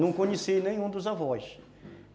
Não conheci nenhum dos avós.